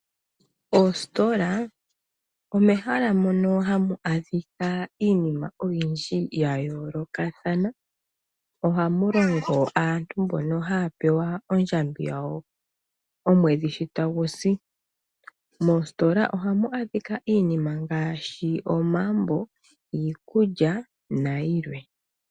Oositola omo mehala moka hamu adhika iinima oyindji yayolokathana ohamu longo aantu mbono haya pewa ondjamba yawo omwedhi ngele tagu si. Ohamu adhika iinima ngaashi omambo, iikulya nayilwe.